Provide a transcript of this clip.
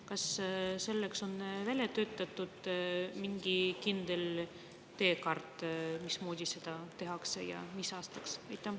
Kas selleks on välja töötatud mingi kindel teekaart, mismoodi seda tehakse ja mis aastaks?